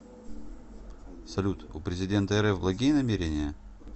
салют у президента рф благие намерения